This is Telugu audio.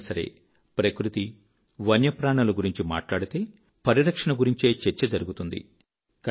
ఎప్పుడైనా సరే ప్రకృతి వన్యప్రాణుల గురించి మాట్లాడితే పరిరక్షణ గురించే చర్చ జరుగుతుంది